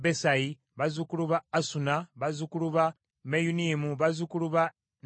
bazzukulu ba Asuna, bazzukulu ba Meyunimu, bazzukulu ba Nefisimu,